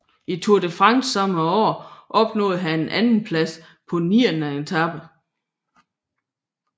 I Tour de France samme år opnåede han en andenplads på niende etape